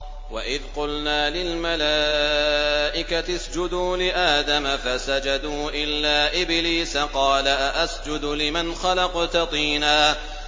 وَإِذْ قُلْنَا لِلْمَلَائِكَةِ اسْجُدُوا لِآدَمَ فَسَجَدُوا إِلَّا إِبْلِيسَ قَالَ أَأَسْجُدُ لِمَنْ خَلَقْتَ طِينًا